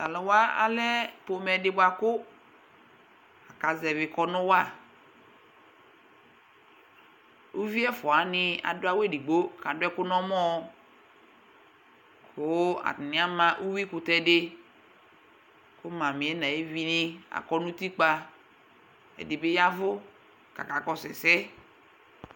Taluwa alɛ ƒomɛ di buakʋ akazɛvi kɔnʋ waUvi ɛfua wani adʋ awu edigbo kaduɛkʋ nɔmɔKʋ atani ama uwi kutɛ diKʋ mamiɛ nayevini akɔ nutikpa ɛdibi yavʋ kakakɔsu ɛsɛ